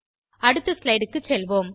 அடுத்த ஸ்லைடு க்கு செல்வோம்